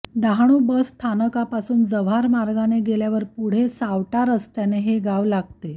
Dahanu bus स्थानकापासून जव्हार मार्गाने गेल्यावर पुढे सावटा रस्त्याने हे गाव लागते